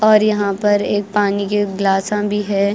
और यहाँ पर एक पानी के गिलासा भी है।